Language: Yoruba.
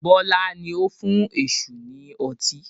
Bọlá ni ó fún èṣù ni ọtí